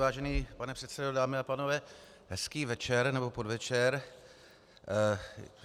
Vážený pane předsedo, dámy a pánové, hezký večer nebo podvečer.